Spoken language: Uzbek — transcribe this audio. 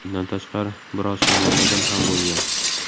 Bundan tashqari biroz shamollagan ham bo‘lgan.